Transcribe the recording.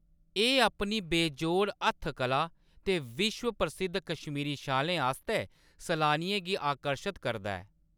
एह्‌‌ अपनी बेजोड़ हत्थ कला ते विश्व प्रसिद्ध कश्मीरी शालें आस्तै सलानियें गी आकर्शत करदा ऐ।